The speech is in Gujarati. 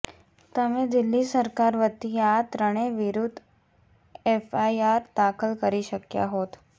તમે દિલ્હી સરકાર વતી આ ત્રણેય વિરૂદ્ધ એફઆઈઆર દાખલ કરી શક્યા હોત